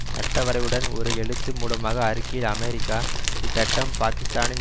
சட்டவரைவுடன் ஒரு எழுத்து மூலமாக அறிக்கையில் அமெரிக்கா இச்சட்டம் பாக்கிஸ்தானின்